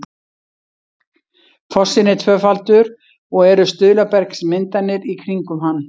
fossinn er tvöfaldur og eru stuðlabergsmyndanir í kringum hann